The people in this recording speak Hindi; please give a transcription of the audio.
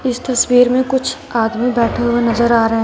इस तस्वीर में कुछ आदमी बैठे हुए नजर आ रहे हैं।